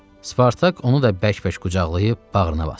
Spartak onu da bərk-bərk qucaqlayıb bağrına basdı.